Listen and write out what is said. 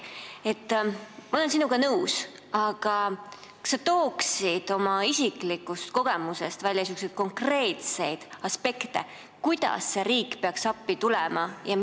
Ma olen sinuga nõus, aga kas sa tooksid oma isikliku kogemuse põhjal välja konkreetseid aspekte, kuidas riik peaks appi tulema?